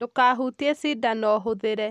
Ndûkahutie cindano hũthĩre